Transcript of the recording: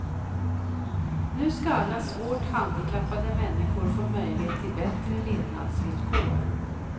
Nu ska alla svårt handikappade människor få möjlighet till bättre levnadsvillkor.